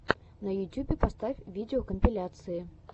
на ютюбе поставь видеокомпиляции